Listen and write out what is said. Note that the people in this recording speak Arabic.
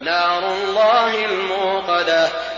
نَارُ اللَّهِ الْمُوقَدَةُ